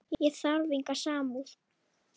Ég þarf enga samúð.